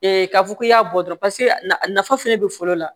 k'a fɔ k'i y'a bɔ dɔrɔn paseke nafa fɛnɛ be foro la